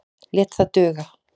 Lét það duga.